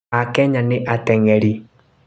A Kenya nĩ atengeri